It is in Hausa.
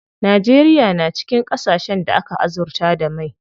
Najeriya na cikin ƙasashen da aka azurta da mai.